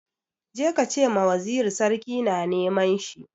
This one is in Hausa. Je ka ce ma waziri sarki na neman shi!